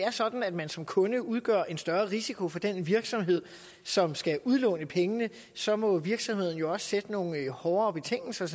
er sådan at man som kunde udgør en større risiko for den virksomhed som skal udlåne pengene så må virksomheden sandsynligvis også sætte nogle hårdere betingelser